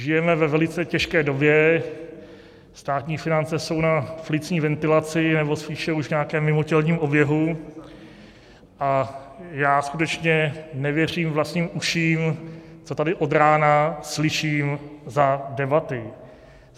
Žijeme ve velice těžké době, státní finance jsou na plicní ventilaci, nebo spíše už nějakém mimotělním oběhu, a já skutečně nevěřím vlastním uším, co tady od rána slyším za debaty.